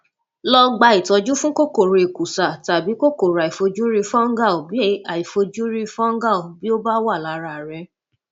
lọ gba ìtọjú fún kòkòrò èkùsá tàbí kòkòrò àìfojúrí fungal bí àìfojúrí fungal bí ó bá wà lára rẹ